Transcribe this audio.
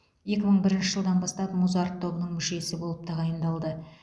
екі мың бірінші жылдан бастап музарт тобының мүшесі болып тағайындалды